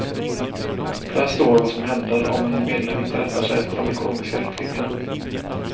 Där står vad som händer om en medlem inte rättar sig efter de ekonomiska riktlinjerna.